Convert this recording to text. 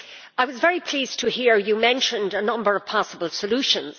I was very pleased to hear you mention a number of possible solutions.